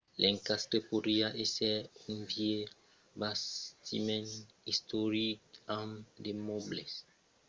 l'encastre podriá èsser un vièlh bastiment istoric amb de mòbles ancians de jardins plan entretenguts e una piscina